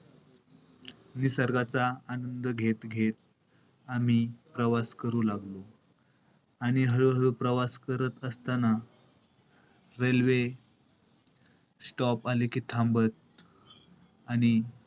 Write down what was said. निसर्गाचा आनंद घेत-घेत आम्ही प्रवास करू लागलो. आणि हळूहळू प्रवास करत असताना railway stop आली कि थांबत आणि,